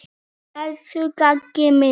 Elsku Gagga mín.